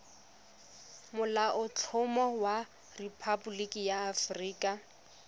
molaotlhomo wa rephaboliki ya aforika